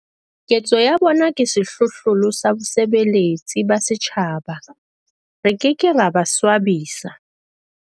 Ketso ya bona ke sehlohlolo sa bosebeletsi ba setjhaba. Re ke ke ra ba swabisa.